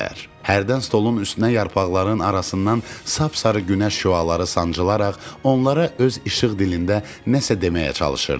Hərdən stolun üstünə yarpaqların arasından sap-sarı günəş şüaları sancılaraq onlara öz işıq dilində nəsə deməyə çalışırdı.